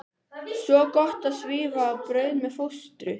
Svo gott að svífa á braut með fóstru.